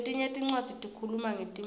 letinye tincwadzi tikhuluma ngetimali